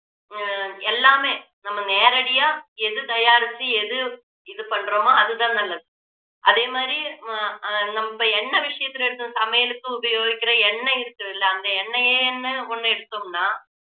ஆஹ் எல்லாமே நம்ம நேரடியா எது தயாரிச்சு எது இது பண்றமோ அதுதான் நல்லது அதே மாதிரி அஹ் நம்ம எண்ணெய் விஷயத்துல எடுத்து சமையலுக்கு உபயோகிக்கிற எண்ணெய் இருக்குthuல்ல அந்த எண்ணெய்யேன்னு ஒண்ணு எடுத்தோம்னா